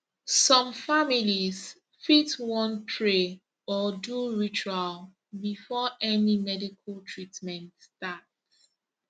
some families fit wan pray or do ritual before any medical treatment start